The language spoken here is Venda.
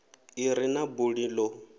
i re na buli ḓo